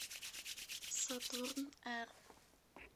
сатурн р